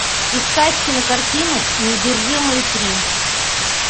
искать кинокартину неудержимые три